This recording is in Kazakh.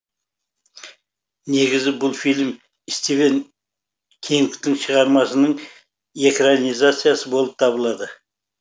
негізі бұл фильм стивен кингтың шығармасының экранизациясы болып табылады